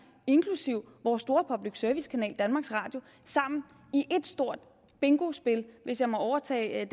inklusive vores store public service kanal danmarks radio sammen i et stort bingospil hvis jeg må overtage